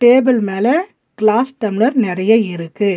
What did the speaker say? Table மேல glass tumbler நெறைய இருக்கு.